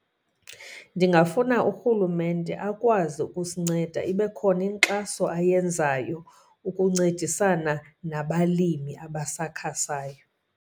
Ndingafuna uRhulumente akwazi ukusinceda, ibe khona inkxaso ayenzayo ukuncedisana nabalimi abasakhasayo.